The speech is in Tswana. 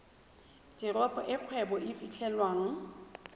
teropo e kgwebo e fitlhelwang